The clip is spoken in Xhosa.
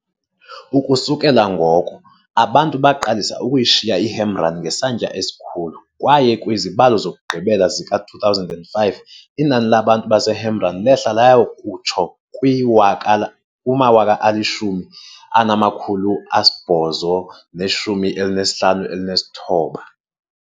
Ukusukela ngoko, abantu baqalise ukuyishiya iHamrun ngesantya esikhulu kwaye kwizibalo zokugqibela zika-2005, inani labantu baseHamrun lehle laya kutsho kwi-10,859.